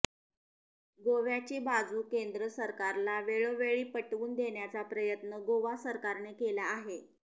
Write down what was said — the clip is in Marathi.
गोव्याची बाजू केंद्र सरकारला वेळोवेळी पटवून देण्याचा प्रयत्न गोवा सरकारने केला आहे